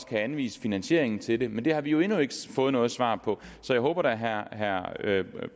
kan anvise finansieringen til det men det har vi endnu ikke fået noget svar på så jeg håber da at herre